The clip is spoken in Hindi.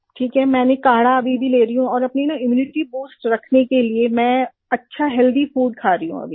ठीक है मैंने काढ़ा अभी भी ले रही हूँ और अपनी इम्यूनिटी बूस्ट रखने के लिए मैं अच्छा हेल्थी फूड खा रही हूँ अभी